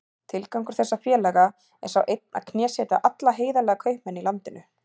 Tilgangur þessara félaga er sá einn að knésetja alla heiðarlega kaupmenn í landinu.